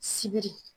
Sibiri